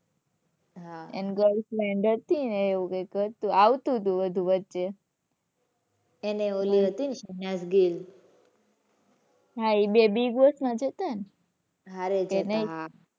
હાં એની girl friend હતી ને એવું કઈક હતું આવતું હતું એવું વચ્ચે. એને ઓલી હતી ને શહેનાઝ ગિલ. હાં એ બે big boss માં જ હતા ને. હારે જ હતા હાં.